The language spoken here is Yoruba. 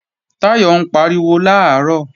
Táyọ̀ ń pariwo làárọ̀